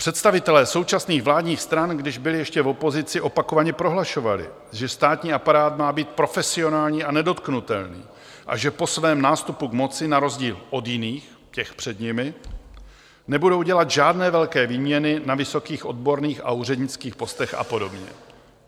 Představitelé současných vládních stran, když byli ještě v opozici, opakovaně prohlašovali, že státní aparát má být profesionální a nedotknutelný a že po svém nástupu k moci na rozdíl od jiných, těch před nimi, nebudou dělat žádné velké výměny na vysokých odborných a úřednických postech a podobně.